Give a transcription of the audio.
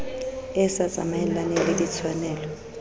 e sa tsamaelaneng le ditshwanelo